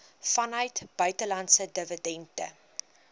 vanuit buitelandse dividende